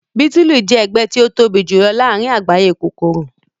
bitulu jẹ ẹgbẹ ti o tobi julọ laarin agbaye kokoro.